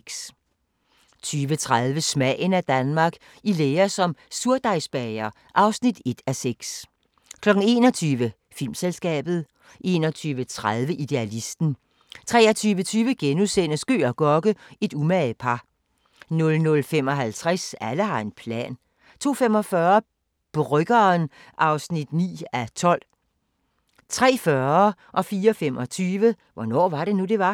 20:30: Smagen af Danmark – I lære som surdejsbager (1:6) 21:00: Filmselskabet 21:30: Idealisten 23:20: Gøg og Gokke – et umage par * 00:55: Alle har en plan 02:45: Bryggeren (9:12) 03:40: Hvornår var det nu, det var? 04:25: Hvornår var det nu, det var?